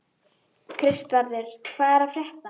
Kristvarður, hvað er að frétta?